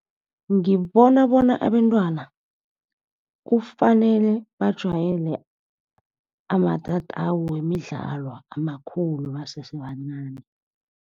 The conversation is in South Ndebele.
Ngibona bona abentwana kufanele bajwayele amatatawu wemidlalo amakhulu basese bancani.